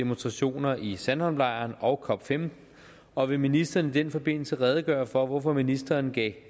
demonstrationer i sandholmlejren og cop15 og vil ministeren i den forbindelse redegøre for hvorfor ministeren gav